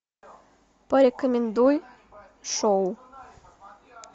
порекомендуй шоу